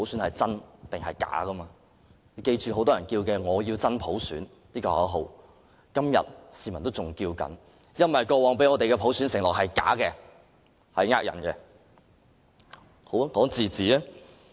大家必須緊記，很多人仍然在喊"我要真普選"的口號，因為過往給予我們的普選承諾是假的，是騙人的。